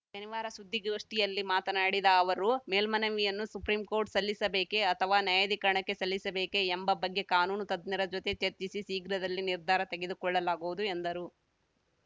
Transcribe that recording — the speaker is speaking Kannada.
ಶನಿವಾರ ಸುದ್ದಿಗೋಷ್ಠಿಯಲ್ಲಿ ಮಾತನಾಡಿದ ಅವರು ಮೇಲ್ಮನವಿಯನ್ನು ಸುಪ್ರೀಂಕೋರ್ಟ್‌ ಸಲ್ಲಿಸಬೇಕೆ ಅಥವಾ ನ್ಯಾಯಾಧಿಕರಣಕ್ಕೆ ಸಲ್ಲಿಸಬೇಕೆ ಎಂಬ ಬಗ್ಗೆ ಕಾನೂನು ತಜ್ಞರ ಜೊತೆ ಚರ್ಚಿಸಿ ಶೀಘ್ರದಲ್ಲಿ ನಿರ್ಧಾರ ತೆಗೆದು ಕೊಳ್ಳಲಾಗುವುದು ಎಂದರು